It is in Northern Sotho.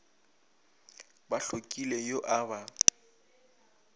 ba hlokile yo a ba